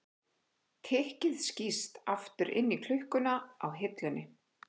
Tikkið skýst aftur inn í klukkuna á hillunni.